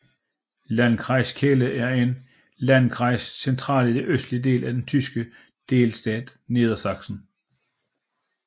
Landkreis Celle er en Landkreis centralt i den østlige del af den tyske delstat Niedersachsen